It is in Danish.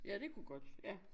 Ja det kunne godt ja